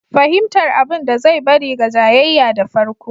Fahimtar abin da zai bari ga jayayya da farko.